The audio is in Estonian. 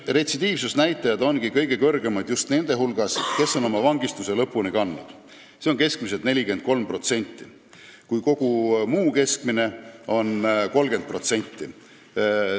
Retsidiivsusnäitajad ongi kõige kõrgemad just nende hulgas, kes on oma vangistuse lõpuni kandnud, see on sel juhul keskmiselt 43%, muul juhul on keskmine 30%.